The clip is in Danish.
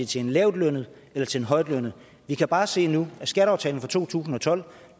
til en lavtlønnet eller til en højtlønnet vi kan bare se nu at skatteaftalen fra to tusind og tolv